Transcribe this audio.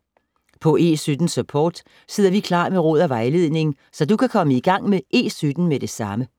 På E17-Support sidder vi klar med råd og vejledning, så du kan komme i gang med E17 med det samme.